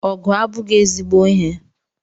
Ọgụ abụghị ezigbo ihe.